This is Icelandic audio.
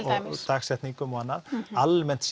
dagsetningum og annað almennt